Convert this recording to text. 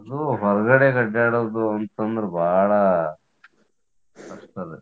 ಅದೂ ಹೊರಗಡೆ ಅದ್ಯಾಡುದ್ ಅಂತಂದ್ರ ಬಾಳ ಕಷ್ಟ್ ಅದ.